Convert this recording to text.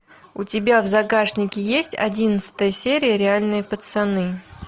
у тебя в загашнике есть одиннадцатая серия реальные пацаны